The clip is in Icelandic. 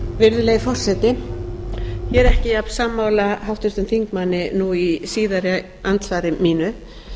virðulegi forseti ég er ekki jafnsammála háttvirtum þingmanni nú í síðara andsvari mínu